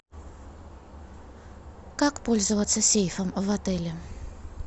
как пользоваться сейфом в отеле